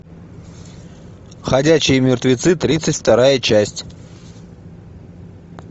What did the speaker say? ходячие мертвецы тридцать вторая часть